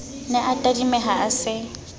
ne a tadimeha a se